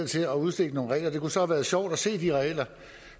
til at udstikke nogle regler det kunne så have været sjovt at se de regler